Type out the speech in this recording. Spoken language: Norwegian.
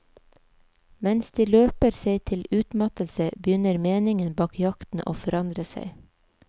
Mens de løper seg til utmattelse begynner meningen bak jakten å forandre seg.